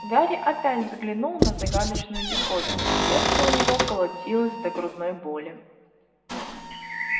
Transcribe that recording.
гарри опять взглянул на загадочную диковину сердце у него колотилось до грудной боли